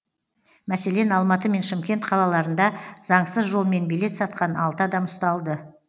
мәселен алматы мен шымкент қалаларында заңсыз жолмен билет сатқан алты адам ұсталды